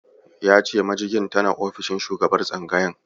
Ya ce majigin tana ofishin shugaban tsangayar.